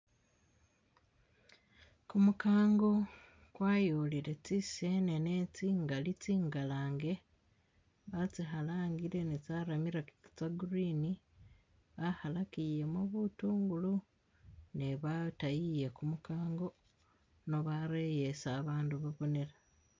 Kumukango kwayolele tsi senene tsingali tsi ngalange batsi khalangile ne tsa ramirakire tsa green bakhalakilemo butungulo ne batayiye kumukango no bareye isi ba bandu babonela.